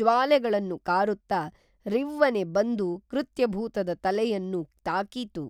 ಜ್ವಾಲೆಗಳನ್ನು ಕಾರುತ್ತಾ ರಿವ್ವನೆ ಬಂದು ಕೃತ್ಯಭೂತದ ತಲೆಯನ್ನು ತಾಕಿತು